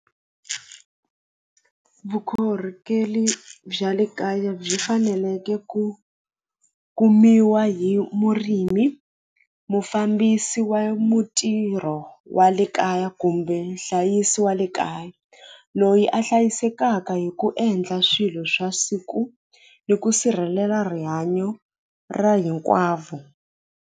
Vukorhokeli bya le kaya byi faneleke ku kumiwa hi murimi mufambisi wa mutirho wa le kaya kumbe nhlayiso wa le kaya loyi a hlayisekaka hi ku endla swilo swa siku ni ku sirhelela rihanyo ra hinkwavo.